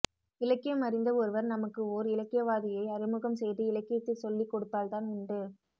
இலக்கியம் அறிந்த ஒருவர் நமக்கு ஓர் இலக்கியவாதியை அறிமுகம் செய்து இலக்கியத்தை சொல்லிக்கொடுத்தால்தான் உண்டு